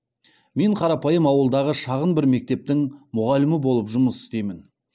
мен қарапайым ауылдағы шағын бір мектептің мұғалімі болып жұмыс істеймін